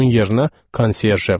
Onun yerinə konsyerje var.